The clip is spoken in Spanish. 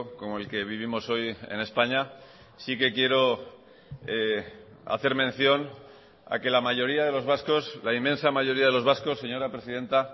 como el que vivimos hoy en españa sí que quiero hacer mención a que la mayoría de los vascos la inmensa mayoría de los vascos señora presidenta